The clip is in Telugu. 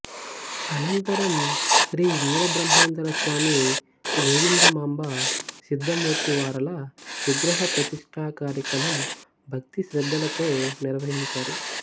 అనంతరం శ్రీ వీరబ్రహ్మేంద్రస్వామి గోవిందమాంబ సిద్ధమూర్తి వారల విగ్రహప్రతిష్ఠా కార్యక్రమం భక్తిశ్రద్ధలతో నిర్వహించారు